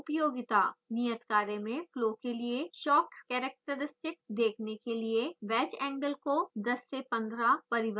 नियत कार्य में फ्लो के लिए shock characteristic देखने के लिए वैज एंगल को 10 ° से 15 ° परिवर्तित करें